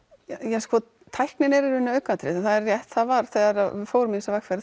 já tæknin er í raun aukaatriði það er rétt að það var þegar við fórum í þessa vegferð